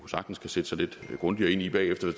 sagtens kan sætte sig lidt grundigere ind i bagefter